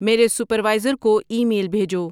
میرے سپروائزر کو email بھیجو